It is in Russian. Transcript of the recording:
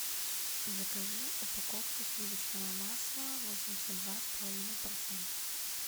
закажи упаковку сливочного масла восемьдесят два с половиной процента